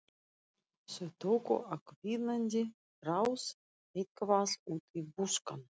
Þau tóku á hvínandi rás eitt- hvað út í buskann.